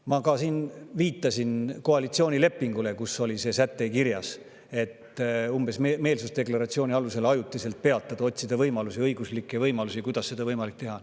Ma viitasin koalitsioonilepingule, kus on kirjas see säte, et otsitakse võimalusi, kuidas mingi meelsusdeklaratsiooni alusel ajutiselt peatada, kuidas seda on võimalik teha.